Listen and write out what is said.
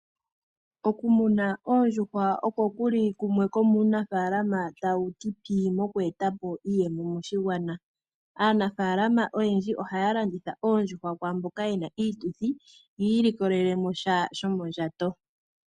Okumuna oondjuhwa shimwe shomuunafaalama tawu ti pii mokweeta po iiyemo moshigwana. Aanafaalama oyendji ohaya landitha oondjuhwa kwaamboka yena iituthi yi ilikolele mo iiyemo.